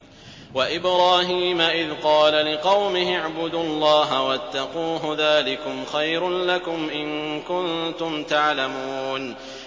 وَإِبْرَاهِيمَ إِذْ قَالَ لِقَوْمِهِ اعْبُدُوا اللَّهَ وَاتَّقُوهُ ۖ ذَٰلِكُمْ خَيْرٌ لَّكُمْ إِن كُنتُمْ تَعْلَمُونَ